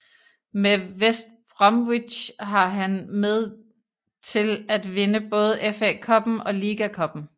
Med West Bromwich var han med til at vinde både FA Cuppen og Liga Cuppen